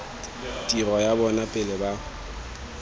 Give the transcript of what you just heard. tiro ya bona pele ba